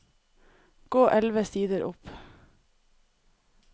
Gå elleve sider opp